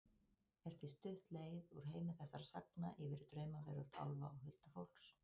Er því stutt leið úr heimi þessara sagna yfir í draumaveröld álfa og huldufólks.